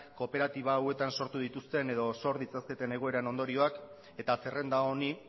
kooperatiba hauetan sortu dituzten edo sor ditzaketen egoeraren ondorioak eta zerrenda honi